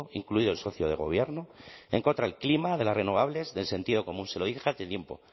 incluido el socio de gobierno en contra del clima de las renovables del sentido común se lo dije hace tiempo